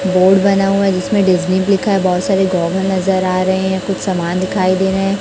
board बना हुआ है जिसमें लिखा हुआ है बहोत सारे कुछ समान दिखाई दे रहे--